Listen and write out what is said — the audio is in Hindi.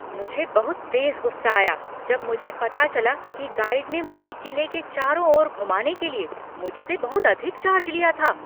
मुझे बहुत तेज गुस्सा आया जब मुझे पता चला कि गाइड ने मुझे किले के चारों ओर घुमाने के लिए मुझसे बहुत अधिक चार्ज लिया था।